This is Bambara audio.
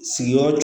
Sigiyɔrɔ